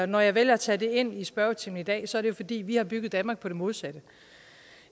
når jeg vælger at tage det ind i spørgetimen i dag er det fordi vi har bygget danmark på det modsatte